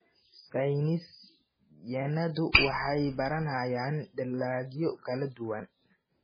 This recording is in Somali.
Saynis yahanadu waxay baranayaan dalagyo kala duwan.